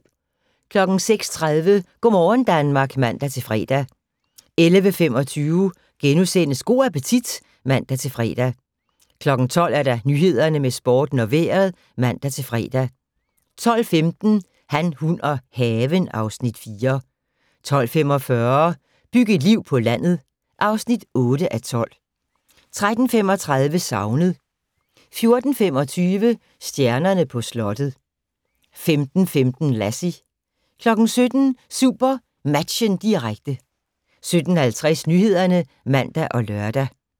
06:30: Go' morgen Danmark (man-fre) 11:25: Go' appetit *(man-fre) 12:00: Nyhederne, Sporten og Vejret (man-fre) 12:15: Han, hun og haven (Afs. 4) 12:45: Byg et liv på landet (8:12) 13:35: Savnet 14:25: Stjernerne på slottet 15:15: Lassie 17:00: SuperMatchen, direkte 17:50: Nyhederne (man og lør)